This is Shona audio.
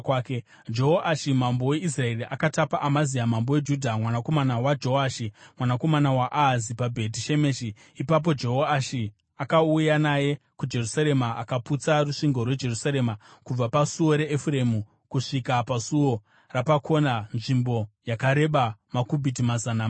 Jehoashi mambo weIsraeri akatapa Amazia mambo weJudha, mwanakomana waJoashi, mwanakomana waAhazia paBheti Shemeshi. Ipapo Jehoashi akauya naye kuJerusarema akaputsa rusvingo rweJerusarema kubva paSuo raEfuremu kusvika paSuo Rapakona, nzvimbo yakareba makubhiti mazana mana .